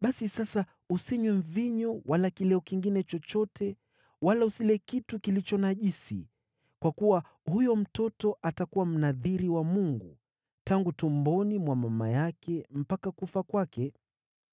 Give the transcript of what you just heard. Basi sasa, usinywe mvinyo wala kileo kingine chochote wala usile kitu kilicho najisi, kwa kuwa huyo mtoto atakuwa Mnadhiri wa Mungu tangu tumboni mwa mama yake mpaka kufa kwake.’ ”